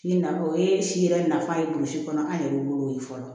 Si nafa o ye si yɛrɛ nafa ye burusi kɔnɔ an yɛrɛ wolo fɔlɔ